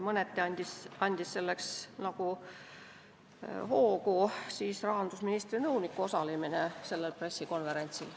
Mõneti andis arupärimise esitamiseks hoogu rahandusministri nõuniku osalemine sellel pressikonverentsil.